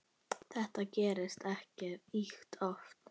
Þetta gerist ekki ýkja oft.